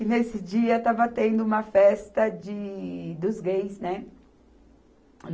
E nesse dia estava tendo uma festa de, dos gays, né?